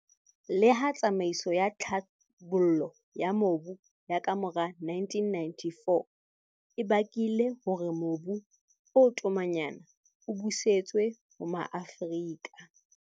Leha tsamaiso ya tlhabollo ya mobu ya kamora 1994 e bakile hore mobu o tomanyana o busetswe ho Maafrika